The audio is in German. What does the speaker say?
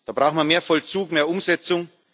Da brauchen wir mehr Vollzug, mehr Umsetzung.